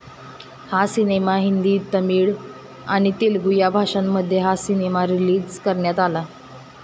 हा सिनेमा हिंदी, तामिळ आणि तेलुगु या भाषांमध्ये हा सिनेमा रिलीज करण्यात आला.